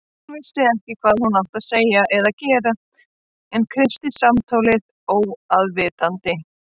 Hún vissi ekki hvað hún átti að segja eða gera en kreisti símtólið óafvitandi.